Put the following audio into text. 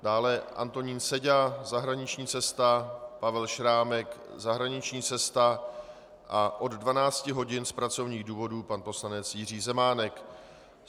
Dále Antonín Seďa - zahraniční cesta, Pavel Šrámek - zahraniční cesta a od 12 hodin z pracovních důvodů pan poslanec Jiří Zemánek.